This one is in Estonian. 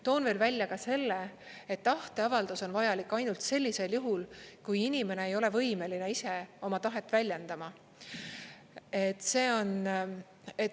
Toon veel välja ka selle, et tahteavaldus on vajalik ainult sellisel juhul, kui inimene ei ole võimeline ise oma tahet väljendama.